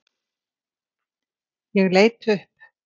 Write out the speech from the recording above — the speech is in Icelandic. Ég leit upp!